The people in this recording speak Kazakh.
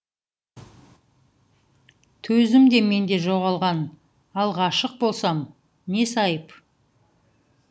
төзім де менде жоғалған ал ғашық болсам несі айып